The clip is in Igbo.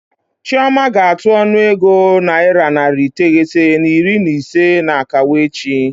Chioma ga-atụ ọnụego naira narị iteghete na iri na ise n'akawo echi.